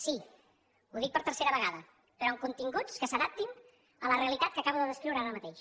sí ho dic per tercera vegada però amb continguts que s’adaptin a la realitat que acabo de descriure ara mateix